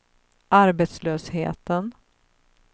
arbetslösheten